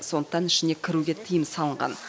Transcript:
сондықтан ішіне кіруге тыйым салынған